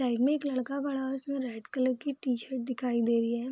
Side में एक लड़का खड़ा है उसने रेड कलर की टी-शर्ट दिखाई दे रही है।